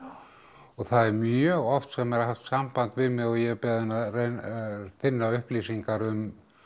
og það er mjög oft sem er haft samband við mig og ég er beðinn að reyna að finna upplýsingar um